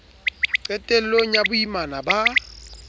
qetel long ya boimana ba